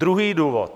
Druhý důvod.